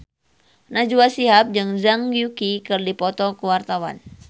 Najwa Shihab jeung Zhang Yuqi keur dipoto ku wartawan